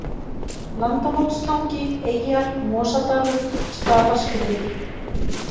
Landamótstangi, Eyjar, Mosadalur, Staðarskriður